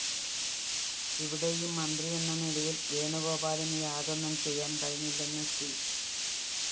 ഇവിടെയും മന്ത്രിയെന്ന നിലയില്‍ വേണുഗോപാലിന്‌ യാതൊന്നും ചെയ്യാന്‍ കഴിഞ്ഞില്ലെന്ന്‌ സി